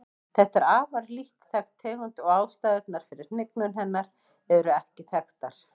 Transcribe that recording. Þetta er afar lítt þekkt tegund og ástæðurnar fyrir hnignun hennar eru ekki þekktar.